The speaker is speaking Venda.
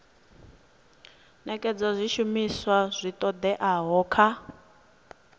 nekedza zwishumiswa zwi oeaho kha